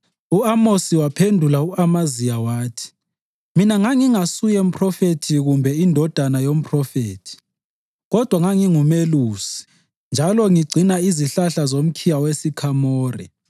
U-Amosi waphendula u-Amaziya wathi, “Mina ngangingasuye mphrofethi kumbe indodana yomphrofethi, kodwa ngangingumelusi, njalo ngigcina izihlahla zomkhiwa wesikhamore.